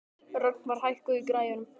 Rögnvar, hækkaðu í græjunum.